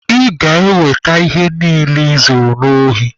Ị ga-eweta ihe niile I zuru n'ohi.